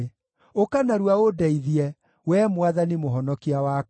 Ũka narua ũndeithie, Wee Mwathani, Mũhonokia wakwa.